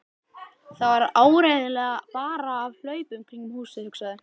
Það var áreiðanlega bara af hlaupunum kringum húsið, hugsaði